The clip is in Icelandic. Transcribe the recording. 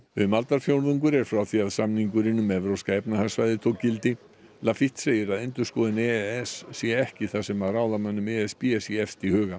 um aldarfjórðungur er frá því að samningurinn um evrópska efnahagssvæðið tók gildi lafitte segir að endurskoðun e s sé ekki það sem ráðamönnum e s b sé efst í huga